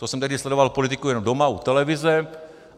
To jsem tehdy sledoval politiku jenom doma u televize.